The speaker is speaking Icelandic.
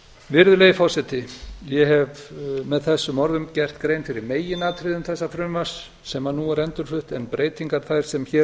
virðulegi forseti ég hef með þessum orðum gert grein fyrir meginatriðum þessa frumvarps sem nú er endurflutt en breytingar þær sem hér